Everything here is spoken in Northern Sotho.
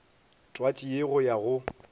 twatši ye go ya go